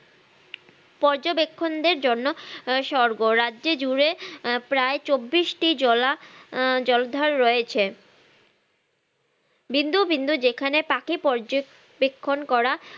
পর্যবেক্ষণদের জন্য আহ স্বর্গ রাজ্য জুরে আহ প্রায় চব্বিশটি জলা আহ জলাধার রয়েছে বিন্দু বিন্দু যেখানে পাখি পর্যবেক্ষণ করা